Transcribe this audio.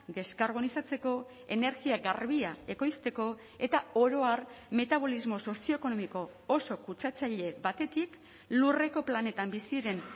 deskarbonizatzeko energia garbia ekoizteko eta oro har metabolismo sozioekonomiko oso kutsatzaile batetik lurreko planetan bizi diren